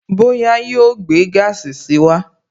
Bóyá yóò gbé gaasi si wá